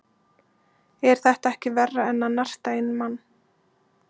Er þetta ekki verra en að narta í mann?